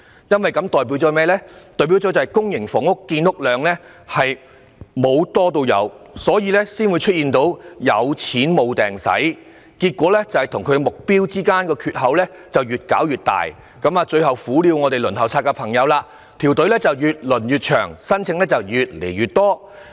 因為這代表公營房屋的建屋量沒有增加，才會出現有錢無處花的情況，令供應量與目標的缺口越來越大，最後只會苦了輪候公屋的朋友，因為輪候隊伍只會越來越長，申請人數越來越多。